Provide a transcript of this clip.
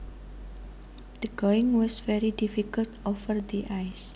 The going was very difficult over the ice